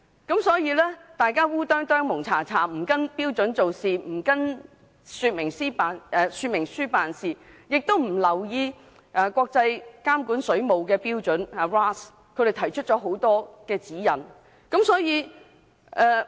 大家胡里胡塗的不按照標準及說明書做事，亦不留意國際監管水務標準提出的指引。